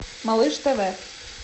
малыш тв